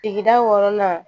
Tigida wɔɔrɔnan